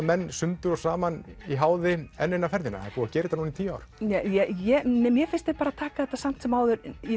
menn sundur og saman í háði enn eina ferðina það er búið að gera þetta núna í tíu ár nei mér finnst þeir taka þetta samt sem áður